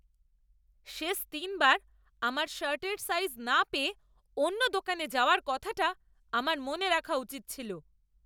শেষ তিনবার আমার শার্টের সাইজ না পেয়ে অন্য দোকানে যাওয়ার কথাটা আমার মনে রাখা উচিত ছিল।